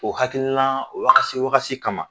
O hakililan wakasi wakasi kama